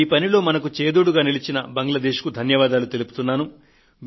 ఈ పనిలో మనకు చేదోడుగా నిలిచిన బంగ్లాదేశ్ కు ధన్యవాదాలు తెలుపుతున్నాను